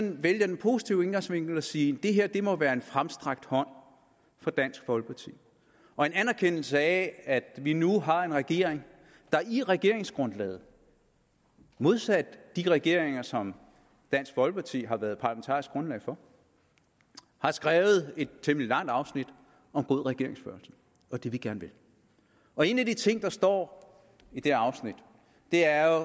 vælge den positive indgangsvinkel og sige det her må være en fremstrakt hånd fra dansk folkeparti og en anerkendelse af at vi nu har en regering der i regeringsgrundlaget modsat de regeringer som dansk folkeparti har været parlamentarisk grundlag for har skrevet et temmelig langt afsnit om god regeringsførelse og det vi gerne vil og en af de ting der står i det afsnit er